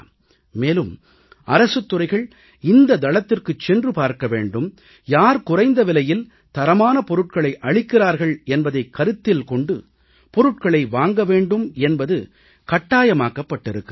மேலும் அரசுத் துறைகள் இந்த தளத்திற்குச் சென்று பார்க்க வேண்டும் யார் குறைந்த விலையில் தரமான பொருட்களை அளிக்கிறார்கள் என்பதைக் கருத்திக் கொண்டு பொருட்களை வாங்க வேண்டும் என்பது கட்டாயமாக்கப்பட்டிருக்கிறது